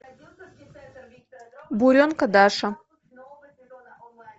буренка даша